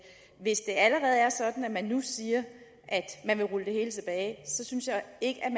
hvis det allerede er sådan at man nu siger at man vil rulle det hele tilbage så synes jeg ikke